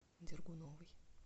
дергуновой